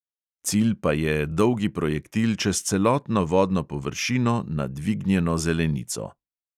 Cilj pa je dolgi projektil čez celotno vodno površino na dvignjeno zelenico.